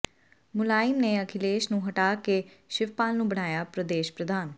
ਮੁਲਾਇਮ ਨੇ ਅਖਿਲੇਸ਼ ਨੂੰ ਹਟਾ ਕੇ ਸ਼ਿਵਪਾਲ ਨੂੰ ਬਣਾਇਆ ਪ੍ਰਦੇਸ਼ ਪ੍ਰਧਾਨ